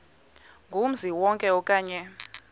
kumzi wonke okanye